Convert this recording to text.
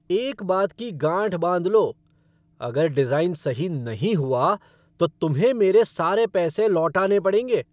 एक बात की गांठ बांध लो, अगर डिज़ाइन सही नहीं हुआ, तो तुम्हें मेरे सारे पैसे लौटाने पड़ेंगे।